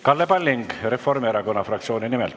Kalle Palling Reformierakonna fraktsiooni nimel.